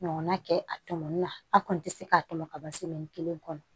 Ɲɔgɔnna kɛ a tɔmɔni na an kɔni tɛ se k'a tɔmɔ ka ban kelen kɔnɔ